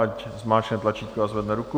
Ať zmáčkne tlačítko a zvedne ruku.